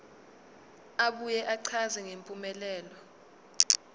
abuye achaze ngempumelelo